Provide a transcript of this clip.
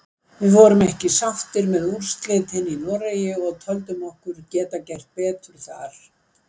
Við vorum ekki sáttir með úrslitin í Noregi og töldum okkur geta gert betur þar.